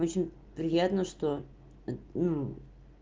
очень приятно что ну